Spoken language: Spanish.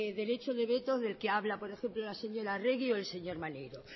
derecho de veto del que habla por ejemplo la señora arregi o el señor maneiro